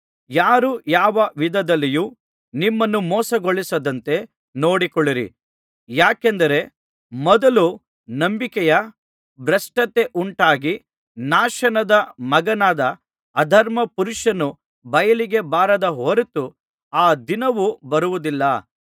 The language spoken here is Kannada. ಯಾರೂ ಯಾವ ವಿಧದಲ್ಲಿಯೂ ನಿಮ್ಮನ್ನು ಮೋಸಗೊಳಿಸದಂತೆ ನೋಡಿಕೊಳ್ಳಿರಿ ಯಾಕೆಂದರೆ ಮೊದಲು ನಂಬಿಕೆಯ ಭ್ರಷ್ಟತೆಯುಂಟಾಗಿ ನಾಶನದ ಮಗನಾದ ಅಧರ್ಮ ಪುರುಷನು ಬಯಲಿಗೆ ಬಾರದ ಹೊರತು ಆ ದಿನವು ಬರುವುದಿಲ್ಲ